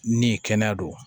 Ni kɛnɛya don